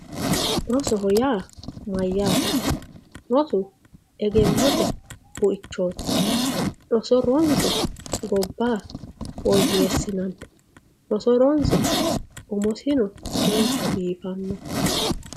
rosoho yaa mayyaate. rosu egennote buichooti roso ronse gobba woyyeessinanni roso ronse umosino manchu biifanno.